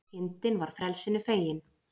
Kindin var frelsinu fegin